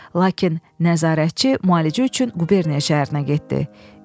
Lakin nəzarətçi müalicə üçün qubernatoriya şəhərinə getdi.